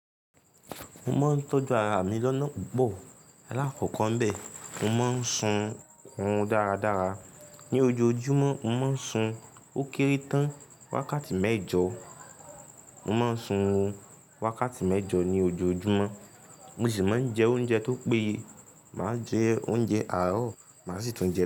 Mo máa ń tọ́jú ara mi lọ́nà púpọ̀. Lakoko n bẹ́ mo máa ń sun orun dáradára. Ni ojoojúmọ́, mo máa ń sun ó kéré tán wákàtí mẹ́jọ. Mo máa ń sun wákàtí mẹ́jọ ní ojoojúmọ́, mo sì máa ń jẹ oúnjẹ tó péye. Máa jẹ oúnjẹ àárọ̀, máa sì tún jẹ.